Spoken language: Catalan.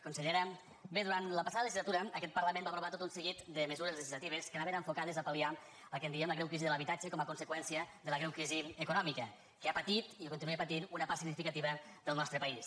consellera bé durant la passada legislatura aquest parlament va aprovar tot un seguit de mesures legislatives que anaven enfocades a pal·liar el que en diem la greu crisi de l’habitatge com a conseqüència de la greu crisi econòmica que ha patit i que continua patint una part significativa del nostre país